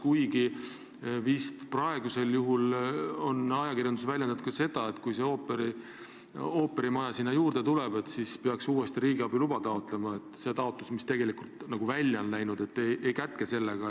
Kuigi jah, ajakirjanduses on teada antud, et kui ooperimaja sinna juurde tuleb, siis peaks uuesti riigiabi luba taotlema, sest esitatud taotlus seda ei kätke.